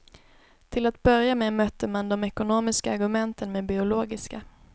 Till att börja med mötte man de ekonomiska argumenten med biologiska.